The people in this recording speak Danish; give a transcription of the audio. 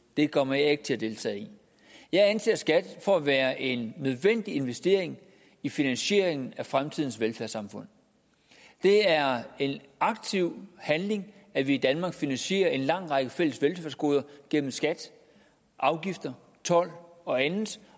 det kommer jeg ikke til at deltage i jeg anser skat for at være en nødvendig investering i finansieringen af fremtidens velfærdssamfund det er en aktiv handling at vi i danmark finansierer en lang række fælles velfærdsgoder gennem skat afgifter told og andet